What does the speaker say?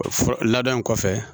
Ladon in kɔfɛ